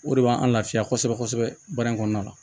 O de b'an lafiya kosɛbɛ kosɛbɛ baara in kɔnɔna la